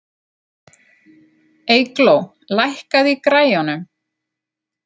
Eygló, lækkaðu í græjunum.